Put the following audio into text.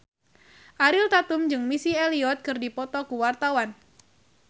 Ariel Tatum jeung Missy Elliott keur dipoto ku wartawan